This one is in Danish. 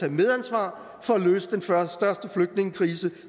et medansvar for at løse den største flygtningekrise